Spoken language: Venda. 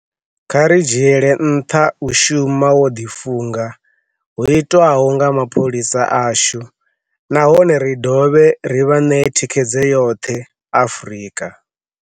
Kha ri dzhiele nṱha u shuma vho ḓifunga hu itwaho nga mapholisa ashu nahone ri dovhe ri vha ṋee thikhedzo yoṱhe uri Afrika